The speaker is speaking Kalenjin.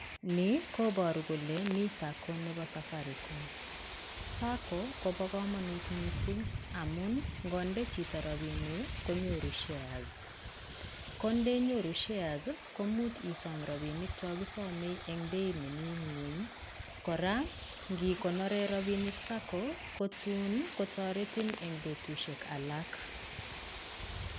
Ni koboru kole mi sacco nebo Safaricom, sacco kobo komonut missing' amun ngonde chito rabinik konyoru shares kondenyoru shares komuch isom rabinik chon kisome en beit nemi ng'weny kora ingikonoren rabinik sacco kotoretin en betusiek alak.